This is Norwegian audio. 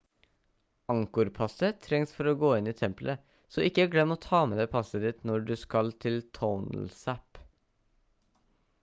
angkor-passet trengs for å gå inn i templet så ikke glem å ta med deg passet ditt når du skal til tonle sap